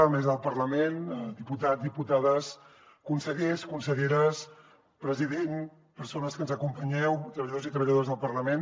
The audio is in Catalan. mesa del parlament diputats diputades consellers conselleres president persones que ens acompanyeu treballadors i treballadores del parlament